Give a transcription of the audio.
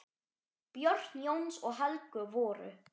Börn Jóns og Helgu voru